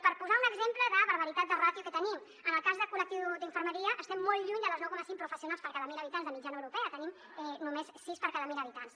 per posar un exemple de barbaritat de ràtio que tenim en el cas del col·lectiu d’infermeria estem molt lluny de les nou coma cinc professionals per cada mil habitants de mitjana europea en tenim només sis per cada mil habitants